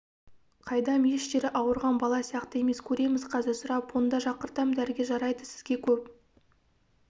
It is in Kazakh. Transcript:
қайдам еш жері ауырған бала сияқты емес көреміз қазір сұрап онда шақыртам дәрігер жарайды сізге көп